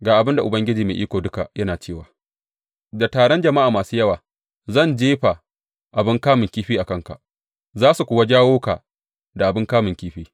Ga abin da Ubangiji Mai Iko Duka yana cewa, Da taron jama’a masu yawa zan jefa abin kamun kifi a kanka, za su kuwa jawo ka da abin kamun kifi.